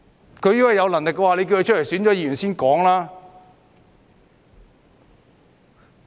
如果他們有能力，便叫他們出來參選議員。